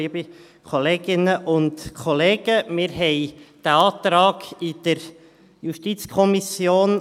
Wir konnten diesen Antrag in der JuKo prüfen.